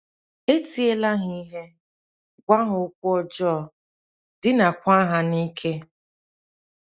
E tiela ha ihe, gwa ha okwu ọjọọ, dinaakwa ha n’ike.